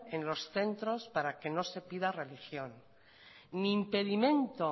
en los centros para que no se pida religión ni impedimento